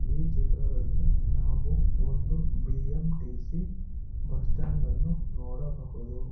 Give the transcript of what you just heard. ಈ ಚಿತ್ರದಲ್ಲಿ ನಾವು ಒಂದು ಬಿ_ಎಂ_ಟಿ_ಸಿ ಬಸ್ ಸ್ಟ್ಯಾಂಡ್ ಅನ್ನು ನೋಡಬಹುದು.